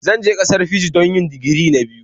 Zan je ƙasar Fiji don yi digiri na biyu